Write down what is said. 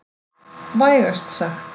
Vægast sagt.